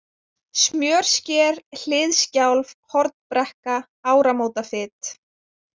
Smjörsker, Hliðskjálf, Hornbrekka, Áramótafit